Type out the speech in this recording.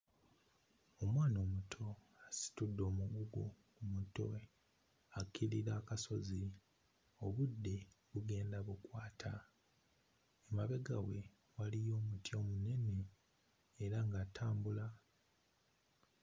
Omwana omuto asitudde omugugu mmutwe akkirira akasozi. Obudde bugenda bukwata, emabega we waliyo omuti omunene era ng'atambula.